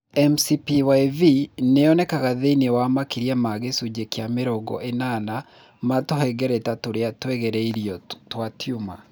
MCPyV nĩ yonekaga thĩinĩ wa makĩria ma gĩcujĩ kĩa mĩrongo ĩnana ma tũhengereta tũrĩa twageririo twa tumor.